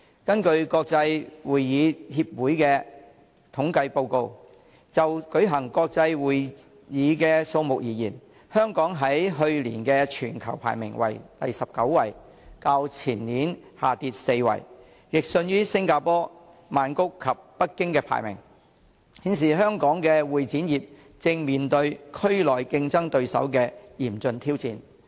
根據國際會議協會的統計報告，就舉行國際會議的數目而言，香港在去年的全球排名為第19位，較前年下跌4位，亦遜於新加坡、曼谷及北京的排名，顯示香港會展業正面對區內競爭對手的嚴峻挑戰。